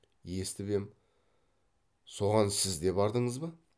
естіп ем соған сіз де бардыңыз ба